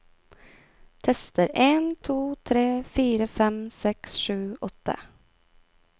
Tester en to tre fire fem seks sju åtte